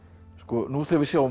nú þegar við sjáum